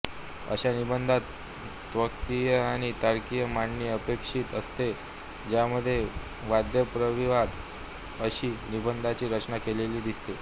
अशा निबंधात तात्त्विक आणि तार्किक मांडणी अपेक्षित असते ज्यामध्ये वादप्रतिवाद अशी निबंधाची रचना केलेली दिसते